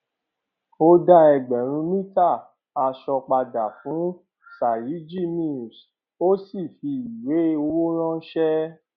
ó dá ẹgbẹrún mítà aṣọ padà fún sayaji mills ó sì fi ìwé owó ránṣẹ